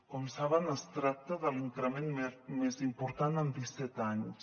com saben es tracta de l’increment més important en disset anys